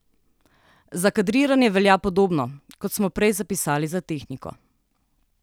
Za kadriranje velja podobno, kot smo prej zapisali za tehniko.